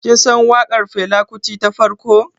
Kin san waƙar Fela Kuti ta farko?